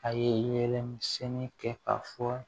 A yelen misɛnnin kɛ ka fɔ